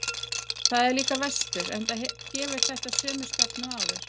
Þar er líka vestur, enda gefur þetta sömu stefnu og áður.